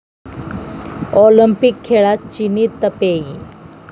Olympic खेळात चिनी Taipei